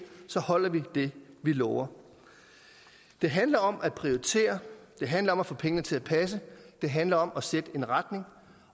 holder vi det vi lover det handler om at prioritere det handler om at få pengene til at passe det handler om at sætte en retning